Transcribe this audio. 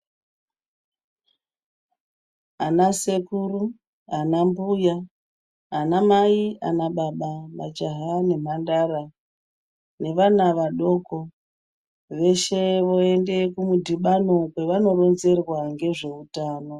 Anasekuru, anambuya, anamai, ana baba, majaha nemhandara nevana vadoko, veshe voyende kumudhibano kwavanoronzerwa ngezveutano.